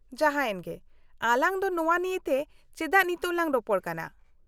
-ᱡᱟᱦᱟᱸᱭᱮᱱ ᱜᱮ , ᱟᱞᱟᱝ ᱫᱚ ᱱᱚᱶᱟ ᱱᱤᱭᱮᱛᱮ ᱪᱮᱫᱟᱜ ᱱᱤᱛᱚᱜ ᱞᱟᱝ ᱨᱚᱯᱚᱲ ᱠᱟᱱᱟ ?